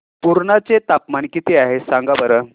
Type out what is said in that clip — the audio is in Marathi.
पुर्णा चे तापमान किती आहे सांगा बरं